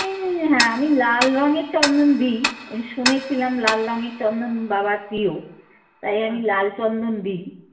হ্যাঁ আমি লাল রঙের চন্দন দিই শুনেছিলাম লাল রঙের চন্দন বাবার প্রিয়। তাই আমি লাল চন্দন দিই